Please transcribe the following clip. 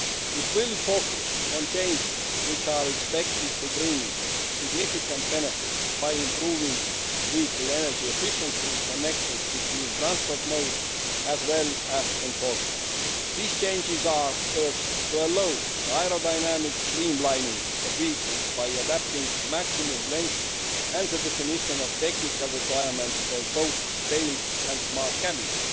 It will focus on changes which are expected to bring significant benefits by improving vehicle energy efficiency, connections between transport modes, as well as enforcement. These changes are first, to allow the aerodynamic streamlining of vehicles by adapting maximum lengths and the definition of technical requirements for boat tails and smart cabins